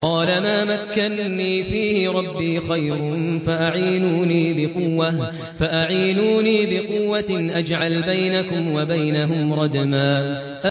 قَالَ مَا مَكَّنِّي فِيهِ رَبِّي خَيْرٌ فَأَعِينُونِي بِقُوَّةٍ أَجْعَلْ بَيْنَكُمْ وَبَيْنَهُمْ رَدْمًا